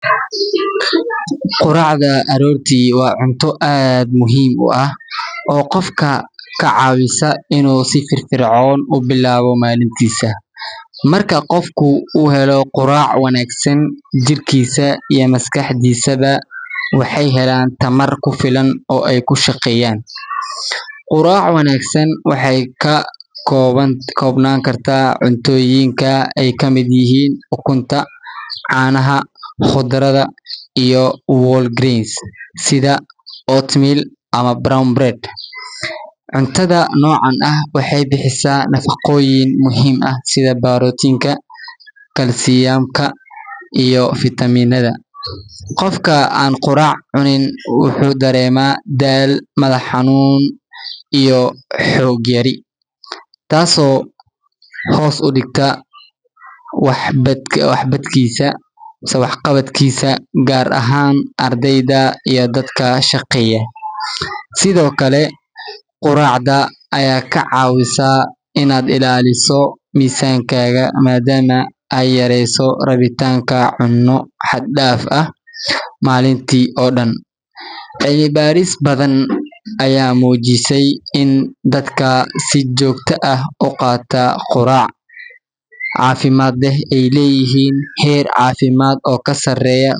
Quraacda aroortii waa cunto aad muhiim u ah oo qofka ka caawisa inuu si firfircoon u bilaabo maalintiisa. Marka qofku uu helo quraac wanaagsan, jirkiisa iyo maskaxdiisaba waxay helaan tamar ku filan oo ay ku shaqeeyaan. Quraac wanaagsan waxay ka koobnaan kartaa cuntooyinka ay ka mid yihiin ukunta, caanaha, khudradda, iyo whole grains sida oatmeal ama brown bread. Cuntada noocan ah waxay bixisaa nafaqooyin muhiim ah sida borotiinka, kalsiyamka, iyo fiitamiinada. Qofka aan quraac cunin wuxuu dareemaa daal, madax xanuun, iyo xoog yari, taasoo hoos u dhigta waxqabadkiisa, gaar ahaan ardayda iyo dadka shaqeeya. Sidoo kale, quraacda ayaa kaa caawisa inaad ilaaliso miisaankaaga maadaama ay yareyso rabitaanka cunno xad dhaaf ah maalintii oo dhan. Cilmibaaris badan ayaa muujisay in dadka si joogto ah u qaata quraac caafimaad leh ay leeyihiin heer caafimaad oo ka sarreeya.